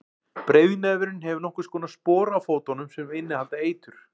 breiðnefurinn hefur nokkurs konar spora á fótunum sem innihalda eitur